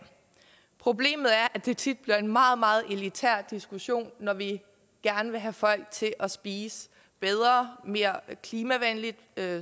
problemet er at det tit bliver en meget meget elitær diskussion når vi gerne vil have folk til at spise bedre mere klimavenligt